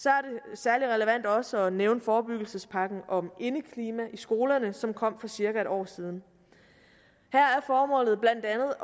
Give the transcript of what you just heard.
særlig relevant også at nævne forebyggelsespakken om indeklima i skolerne som kom for cirka en år siden her er formålet blandt andet